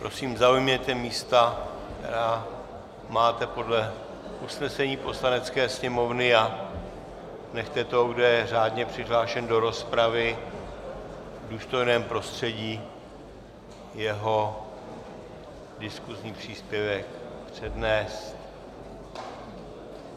Prosím zaujměte místa, která máte podle usnesení Poslanecké sněmovny, a nechte toho, kdo je řádně přihlášen do rozpravy, v důstojném prostředí jeho diskusní příspěvek přednést.